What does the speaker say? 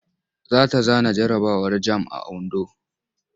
Za ta zana jarabawar jamb a Ondo.